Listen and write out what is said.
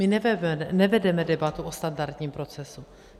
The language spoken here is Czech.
My nevedeme debatu o standardním procesu.